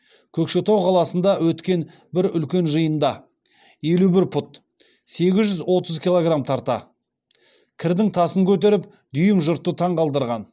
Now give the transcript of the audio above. көкшетау қаласында өткен бір үлкен жиында елу бір пұт сегіз жүз отыз киллограм тарта кірдің тасын көтеріп дүйім жұртты таңғалдырған